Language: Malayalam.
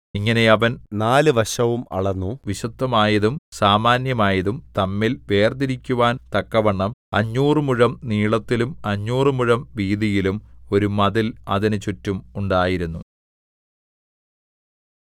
ഇങ്ങനെ അവൻ നാലുവശവും അളന്നു വിശുദ്ധമായതും സാമാന്യമായതും തമ്മിൽ വേർതിരിക്കുവാൻ തക്കവണ്ണം അഞ്ഞൂറ് മുഴം നീളത്തിലും അഞ്ഞൂറുമുഴം വീതിയിലും ഒരു മതിൽ അതിന് ചുറ്റും ഉണ്ടായിരുന്നു